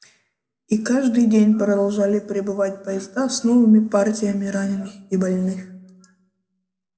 и каждый день продолжали прибывать поезда с новыми партиями раненых и больных